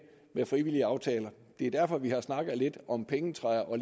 med frivillige aftaler det er derfor at vi har snakket lidt om pengetræer og